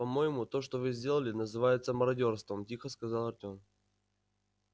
по-моему то что вы сделали называется мародёрством тихо сказал артем